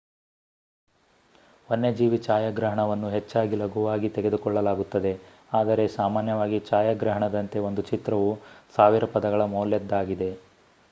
ವನ್ಯಜೀವಿ ಛಾಯಾಗ್ರಹಣವನ್ನು ಹೆಚ್ಚಾಗಿ ಲಘುವಾಗಿ ತೆಗೆದುಕೊಳ್ಳಲಾಗುತ್ತದೆ ಆದರೆ ಸಾಮಾನ್ಯವಾಗಿ ಛಾಯಾಗ್ರಹಣದಂತೆ ಒಂದು ಚಿತ್ರವು ಸಾವಿರ ಪದಗಳ ಮೌಲ್ಯದ್ದಾಗಿದೆ